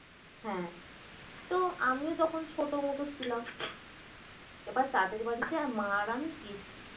হ্যাঁ তো আমিও তখন ছোট মতো ছিলাম এবার তাদের বাড়িতে মা আর আমি গেছি